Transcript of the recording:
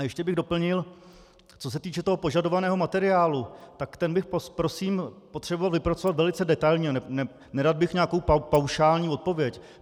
A ještě bych doplnil, co se týče toho požadovaného materiálu, tak ten bych prosím potřeboval vypracovat velice detailně, nerad bych nějakou paušální odpověď.